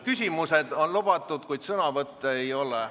Küsimused on lubatud, kuid sõnavõtte ei ole.